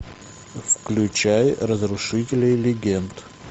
включай разрушители легенд